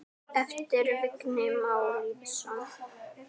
eftir Vigni Má Lýðsson